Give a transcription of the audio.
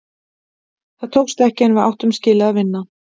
Það tókst ekki, en við áttum skilið að vinna.